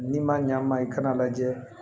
N'i ma ɲ'an ma i kana lajɛ